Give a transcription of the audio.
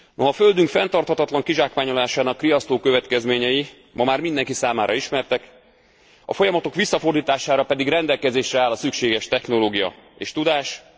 A Földünk fenntarthatatlan kizsákmányolásának riasztó következményei ma már mindenki számára ismertek, a folyamatok visszafordítására pedig rendelkezésre áll a szükséges technológia és tudás.